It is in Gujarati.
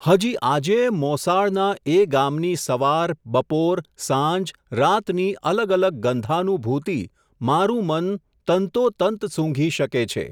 હજી આજેય મોસાળના એ ગામની સવાર, બપોર, સાંજ, રાતની અલગ અલગ ગંધાનુભૂતિ મારું મન તંતોતંત સૂંધી શકે છે.